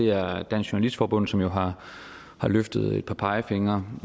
er dansk journalistforbund som jo har har løftet et par pegefingre